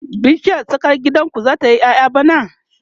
bishiyar tsakar gidan ku zata yi ƴaƴa bana?